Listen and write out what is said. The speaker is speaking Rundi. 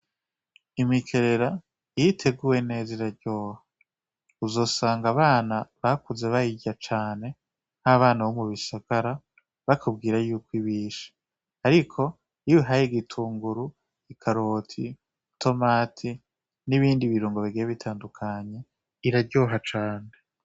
Imikerera iyo iteguwe neza iraryoha uzosanga abana bakuze bayirya cane ari abana bo mu bisagara bakubwira yuko ibishe ariko iyo uyihaye igitunguru, ikaroti, itomati n'ibindi birungo bigiye bitandukanye iraryoha cane.